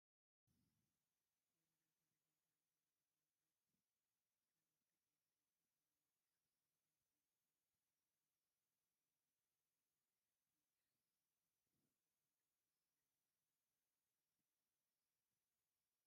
ንባህላዊ ታሪኽ ወይ ታሪኻዊ ልቢ ወለድ ከመልክት ይኽእል። እቲ መጽሓፍ ባህልን ስነጥበብን ትግርኛ ዘንጸባርቑ ኣብነታት ዝሓዘ እዩ። መጽሓፍ "ምሲላታ" ብቐንዱ ካብ ኣየናይ ቋንቋ ዝመጹ ምስላታት ዝሓዘት እያ?